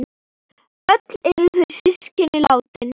Öll eru þau systkin látin.